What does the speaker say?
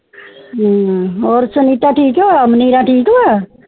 ਹੋਰ ਸੁਨੀਤਾ ਠ੍ਕ ਆ ਹੋਰ ਅਬਨਿਰਾ ਠ੍ਕ ਵ